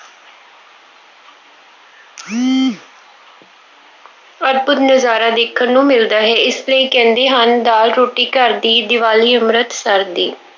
ਅਦਭੁੱਤ ਨਜ਼ਾਰਾ ਦੇਖਣ ਨੂੰ ਮਿਲਦਾ ਹੈ। ਇਸ ਲਈ ਕਹਿੰਦੇ ਹਨ, ਦਾਲ ਰੋਟੀ ਘਰ ਦੀ, ਦੀਵਾਲੀ ਅੰਮ੍ਰਿਤਸਰ ਦੀ।